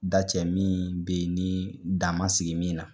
Da cɛ min bɛ ye ni da man sigi min na.